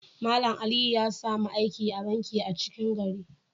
Mallam Aliyu ya samu aiki a'banki a 'cikin gari.